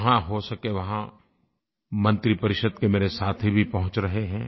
जहाँ हो सके वहाँ मंत्रिपरिषद के मेरे साथी भी पहुँच रहे हैं